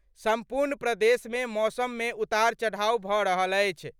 सम्पूर्ण प्रदेश मे मौसम मे उतार चढ़ाव भऽ रहल अछि।